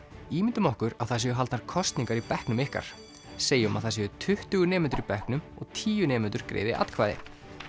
ímyndum okkur að það séu haldnar kosningar í bekknum ykkar segjum að það séu tuttugu nemendur í bekknum og tíu nemendur greiði atkvæði